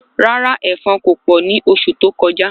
Rárá èfọn ko pọ ni oṣù tó kọjá